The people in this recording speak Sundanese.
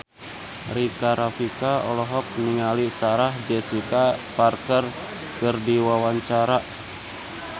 Rika Rafika olohok ningali Sarah Jessica Parker keur diwawancara